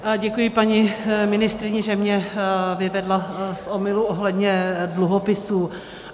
Děkuji paní ministryni, že mě vyvedla z omylu ohledně dluhopisů.